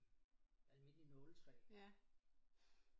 Almindeligt nåletræ